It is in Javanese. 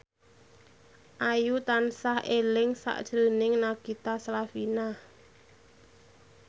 Ayu tansah eling sakjroning Nagita Slavina